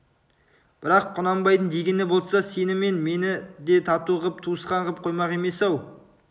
бірақ құнанбайдың дегені болса сені мен мені де тату қып туысқан қып қоймақ емес-ау